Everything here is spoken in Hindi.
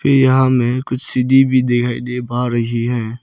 यहां हमें कुछ सीढ़ी भी दिखाई दे पा रही है।